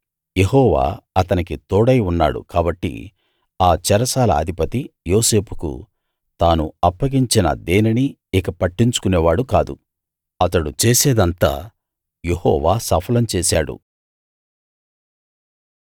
యెహోవా అతనికి తోడై ఉన్నాడు కాబట్టి ఆ చెరసాల అధిపతి యోసేపుకు తాను అప్పగించిన దేనినీ ఇక పట్టించుకునేవాడు కాదు అతడు చేసేదంతా యెహోవా సఫలం చేశాడు